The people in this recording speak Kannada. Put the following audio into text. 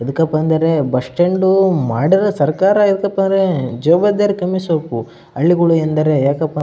ಎದಕಪ್ಪಾ ಅಂದರೆ ಬಸ್ಟ್ಯಾಂಡೂ ಮಾಡದ ಸರ್ಕಾರ ಎದಕಪ್ಪಾರೇ ಹಳ್ಳಿಗಳು ಎಂದರೆ ಯಾಕಪ್ಪಾ --